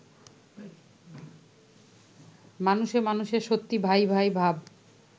মানুষে মানুষে সত্যিই ভাই-ভাই ভাব